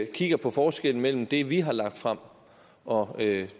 kigger på forskellen mellem det vi har lagt frem og